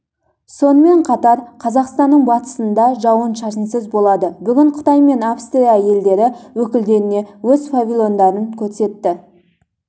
сонымен қатар қазақстанның батысында жауын-шашынсыз болады бүгін қытай мен австрия елдері өкілдеріне өз павильондарын көрсетті дже